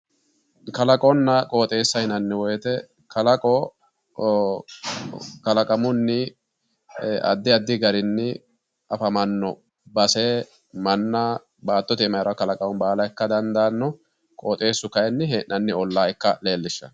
Kalaqonna qooxeessaho yinanni woyte kalaqo kalaqamunni addi addi garinni afamanno base manna baattote aana hee'ranno kalaqama baala ikka dandaanno, qooxeessu kayiinni hee'nanni olla ikka leellishanno.